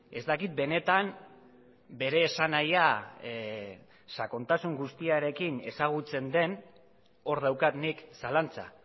ez dakit benetan bere esanahia sakontasun guztiarekin ezagutzen den hor daukat nik zalantza